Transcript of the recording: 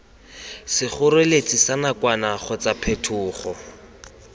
sekgoreletsi sa nakwana kgotsa phetogo